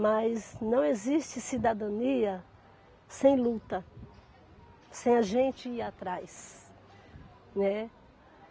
Mas não existe cidadania sem luta, sem a gente ir atrás, né.